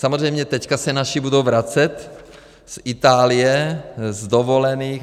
Samozřejmě teď se naši budou vracet z Itálie, z dovolených.